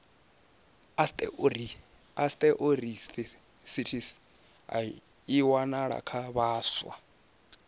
osteoarithritis i wanalesa kha vhaswa